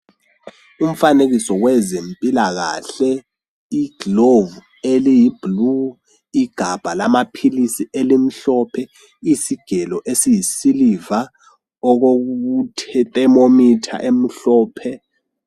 Umfanekiso wezempilakahle igilovu eliyi blue, igabha lamaphilisi elimhlophe, isigelo esiyisiliva, okukuthe ithermometer emhlophe.